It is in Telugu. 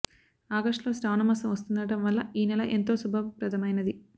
ఆగష్టులో శ్రావణ మాసం వస్తుండడం వల్ల ఈ నెల ఎంతో శుభప్రదమైనది